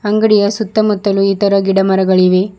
ಅಂಗಡಿಯ ಸುತ್ತಮುತ್ತಲು ಈ ತರ ಗಿಡ ಮರಗಳಿವೆ.